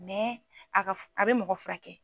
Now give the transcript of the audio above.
Mɛ a ka a bɛ mɔgɔ furakɛ.